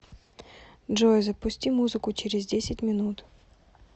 джой запусти музыку через десять минут